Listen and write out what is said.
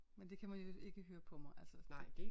Men det kan man jo ikke høre på mig altså